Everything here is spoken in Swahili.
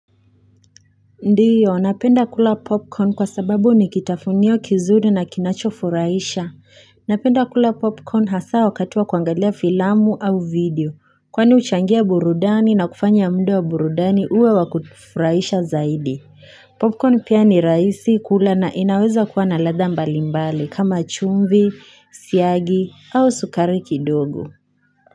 Ndio, napenda kula popcorn kwa sababu ni kitafunio kizuri na kinacho furahisha. Napenda kula popcorn hasa wakati wa kuangalia filamu au video. Kwani huchangia burudani na kufanya muda wa burudani uwe wakufurahisha zaidi. Popcorn pia ni rahisi kula na inaweza kuwa na ladha mbalimbali kama chumvi, siagi au sukari kidogo.